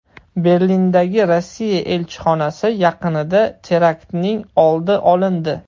Berlindagi Rossiya elchixonasi yaqinida teraktning oldi olindi.